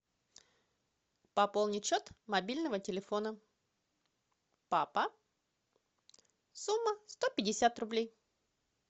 пополнить счет мобильного телефона папа сумма сто пятьдесят рублей